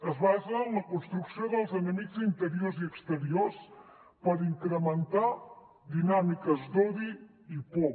es basa en la construcció dels enemics interiors i exteriors per incrementar dinàmiques d’odi i por